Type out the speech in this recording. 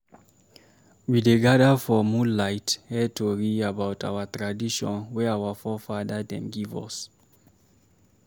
We dey gada for moonlight hear tori about our tradition wey our fore-fada dem give us.